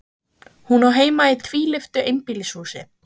Hún á heima í tvílyftu einbýlishúsi.